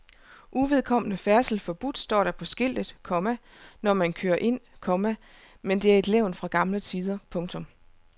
Uvedkommende færdsel forbudt står der på skiltet, komma når man kører ind, komma men det er et levn fra gamle tider. punktum